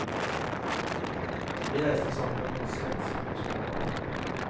Vi reiste sammen med noen svensker med små barn.